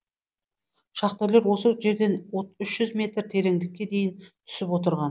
шахтерлер осы жерден үш жүз метр тереңдікке дейін түсіп отырған